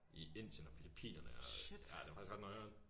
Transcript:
I Indien og Filippinerne og ja det faktisk ret noieren